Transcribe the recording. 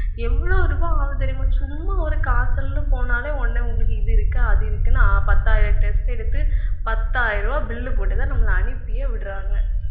எவ்வளவு ரூபாய் ஆகுது தெரியுமா சும்மா ஒரு காய்ச்சல்ன்னு போனாலே உடனே உங்களுக்கு இது இருக்கு அது இருக்குன்னு பத்தாயிரம் test எடுத்து, பத்தாயிரம் ரூபாய் bill போட்டுத்தான் நம்மளை அனுப்பியே விடுறாங்க